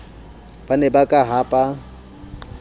ba ne ba ka hapa